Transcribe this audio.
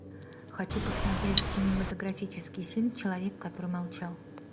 хочу посмотреть кинематографический фильм человек который молчал